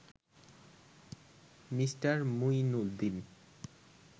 Me. Mueenuddin